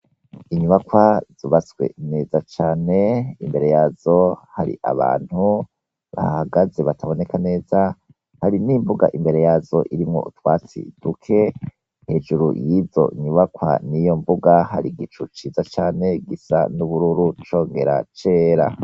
Inyubakwa zubatswe neza cane. Imbere yazo hari abantu bahahagaze bataboneka neza, hari n'imbuga irimwo utwatsi duke. Hejuru y'izo nyubakwa n'iyo mbuga hari igicu ciza cane gisa n'ubururu congera cera.